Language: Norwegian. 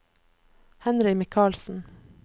Henry Michaelsen